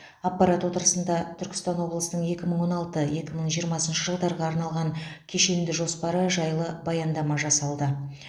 аппарат отырысында түркістан облысының екі мың он алты екі мың жиырмасыншы жылдарға арналған кешенді жоспары жайлы баяндама жасалды